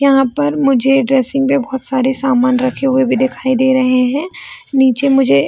यहां पर मुझे ड्रेसिंग पे बोहोत सारे सामान रखे हुए भी दिखाई दे रहे हैं नीचे मुझे --